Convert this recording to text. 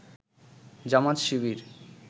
Jamaat Shibir